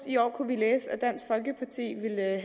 i år kunne læse